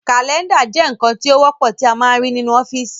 Kàlẹ́ndà jẹ́ ǹkan tí ó wọ́pọ̀ tí a ń máa ń rí nínú ọ́fìsì